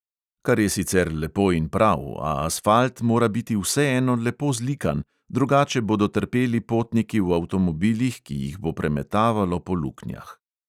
Kar je sicer lepo in prav, a asfalt mora biti vseeno lepo zlikan, drugače bodo trpeli potniki v avtomobilih, ki jih bo premetavalo po luknjah.